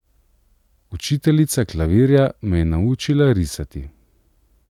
Učiteljica klavirja me je naučila risati.